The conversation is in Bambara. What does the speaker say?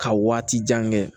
Ka waati jan kɛ